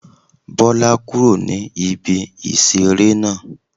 Bọ́lá kúrò ní ibi ìṣeré náà